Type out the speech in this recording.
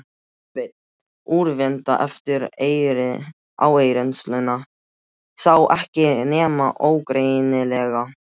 Sveinn, úrvinda eftir áreynsluna, sá ekki nema ógreinilega.